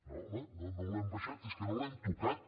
no home no l’hem abaixat és que no l’hem tocat